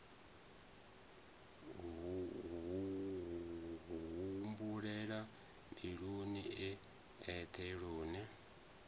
humbulela mbiluni e eṱhe lune